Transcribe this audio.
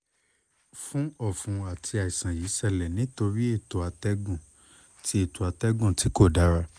fun ọfun ati aiṣan yii ṣẹlẹ nitori eto atẹgun ti eto atẹgun ti ko dara